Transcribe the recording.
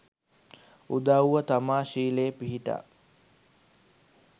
උදවුව තමා ශීලයේ පිහිටා